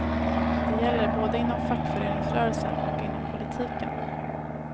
Det gäller både inom fackföreningsrörelsen och inom politiken.